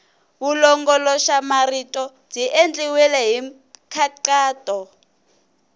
vulongoloxamarito byi endliwile hi nkhaqato